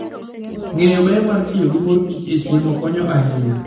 Ng'eyo ber mar tiyo gi mor kich e chiemo konyo ahinya.